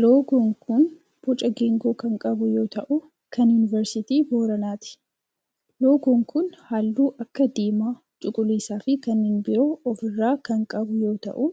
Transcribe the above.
Loogoon kun boca geengoo kan qabu yoo ta'u kan yunivarsiitii Booranaati. Loogoon kun halluu akka diimaa, cuquliisa fi kanneen biroo of irraa kan qabu yoo ta'u